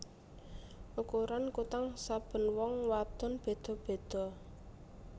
Ukuran kutang saben wong wadon beda beda